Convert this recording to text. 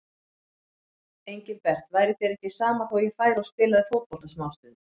Engilbert, væri þér ekki sama þó ég færi og spilaði fótbolta smástund.